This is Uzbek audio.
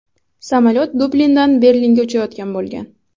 Samolyot Dublindan Berlinga uchayotgan bo‘lgan.